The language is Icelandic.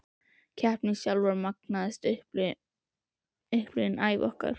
Keppnin sjálf var magnaðasta upplifun ævi okkar.